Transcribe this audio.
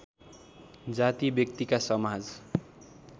जाति व्यक्तिका समाज